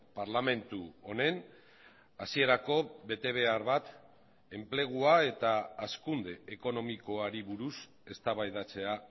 parlamentu honen hasierako betebehar bat enplegua eta hazkunde ekonomikoari buruz eztabaidatzea